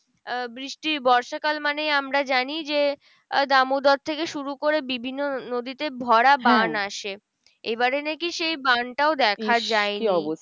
আহ বৃষ্টি বর্ষাকাল মানেই আমরা জানি যে, দামোদর থেকে শুরু করে বিভিন্ন নদীতে ভরা বান আসে। এবারে নাকি সেই বান টাও দেখা যায় নি?